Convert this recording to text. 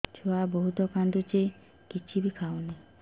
ଛୁଆ ବହୁତ୍ କାନ୍ଦୁଚି କିଛିବି ଖାଉନି